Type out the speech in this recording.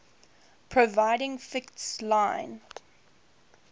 providing fixed line